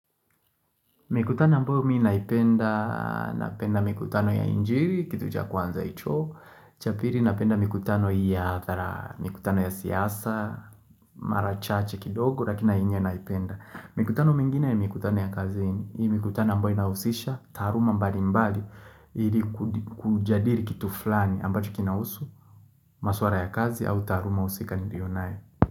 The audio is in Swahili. Mikutano ambsyo mii naipenda, napenda mikutano ya injiri, kitu cha kwanza hicho, cha piri napenda mikutano ya atara, mikutano ya siasa, mara chache kidogo, lakina nainye naipenda. Mikutano mingine ya mikutano ya kazini, hii mikutano ambayo inahusisha, taaruma mbali mbali, ili kujadili kitu flani ambacho kinahusu, maswara ya kazi au dharuma husika nilio naye.